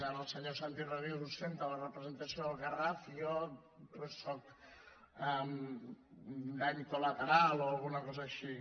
ara el senyor santi rodríguez ostenta la representació del garraf i jo doncs sóc un dany col·lateral o alguna cosa així